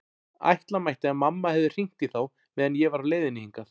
Ætla mætti að mamma hefði hringt í þá meðan ég var á leiðinni hingað.